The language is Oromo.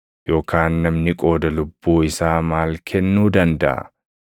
Yookaan namni qooda lubbuu isaa maal kennuu dandaʼa?